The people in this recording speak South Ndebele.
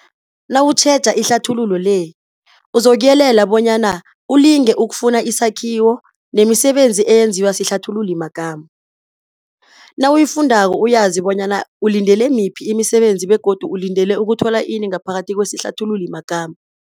Nawutjheja ihlathululo le, uzokuyelela bonyana ilinge ukufana isakhiwo nemisebenzi eyenziwa sihlathululimagama. Nawuyifundako uyazi bonyana ulindele miphi imisebenzi begodu ulindele ukuthola ini ngaphakathi kwesihlathululi magama.